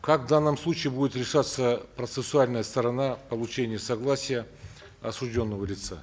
как в данном случае будет решаться процессуальная сторона получения согласия осужденного лица